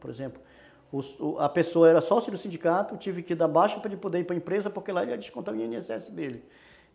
Por exemplo, a pessoa era sócia do sindicato, tive que dar baixo para ele poder ir para empresa, porque lá ele ia descontar o i ene esse dele.